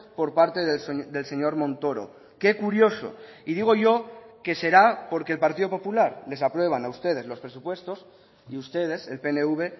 por parte del señor montoro que curioso y digo yo que será porque el partido popular les aprueban a ustedes los presupuestos y ustedes el pnv